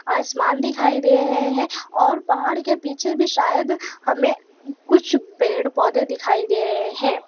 आसमान दिखाई दे रहे है और पहाड़ के पीछे भी शायद हमें कुछ पेड़ पौधे दिखाई दे रहे है।